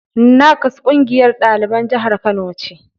NAKSS ƙungiyar ɗaliban jihar Kano ce.